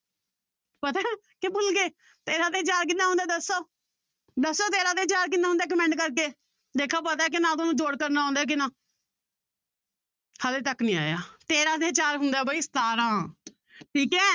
ਤੇਰਾਂ ਤੇ ਚਾਰ ਕਿੰਨਾ ਹੁੰਦਾ ਦੱਸੋ, ਦੱਸੋ ਤੇਰਾਂ ਤੇ ਚਾਰ ਕਿੰਨਾ ਹੁੰਦਾ ਹੈ comment ਕਰਕੇ ਦੇਖਾਂ ਪਤਾ ਕਿ ਨਾ ਤੁਹਾਨੂੂੰ ਜੋੜ ਕਰਨਾ ਆਉਂਦਾ ਕਿ ਨਾ ਹਾਲੇ ਤੱਕ ਨੀ ਆਇਆ ਤੇਰਾਂ ਤੇ ਚਾਰ ਹੁੰਦਾ ਹੈ ਬਾਈ ਸਤਾਰਾਂ ਠੀਕ ਹੈ